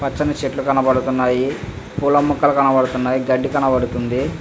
పచ్చని చెట్లు కనబడుతున్నాయి.పూల మొక్కలు కనబడుతున్నాయి.గడ్డి కనపడుతుంది.